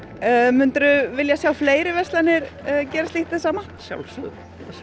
myndirðu vilja sjá fleiri verslanir gera slíkt hið sama að sjálfsögðu